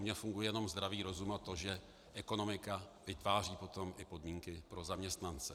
U mě funguje jenom zdravý rozum, a to, že ekonomika vytváří potom i podmínky pro zaměstnance.